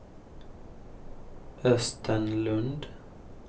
Östen Lund